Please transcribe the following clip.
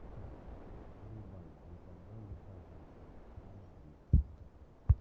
врубай никогда не сдавайся аш ди